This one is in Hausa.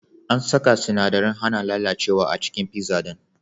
An saka sinadarin hana lalacewa a cikin pizza din.